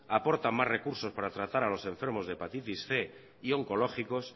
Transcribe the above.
aportan más recursos para tratar a los enfermos de hepatitis cien y oncológicos